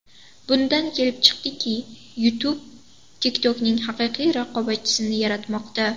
Bundan kelib chiqadiki, YouTube TikTok’ning haqiqiy raqobatchisini yaratmoqda.